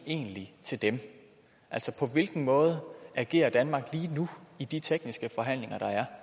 til dem altså på hvilken måde agerer danmark lige nu i de tekniske forhandlinger der er